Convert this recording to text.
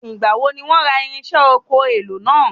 Nígbà wo ni wọ́n ra irinṣẹ́ ọkọ̀ èlò náà?